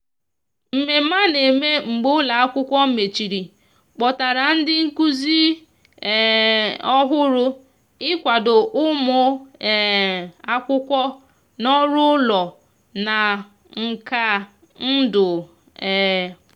mmeme ana mee mgbe ụlo akwụkwo mecheri kpọtara ndi nkuzi um ohuru ị kwado ụmụ um akwụkwo n'ọrụ ụlọ na nkà ndu um